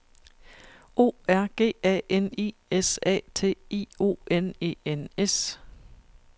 O R G A N I S A T I O N E N S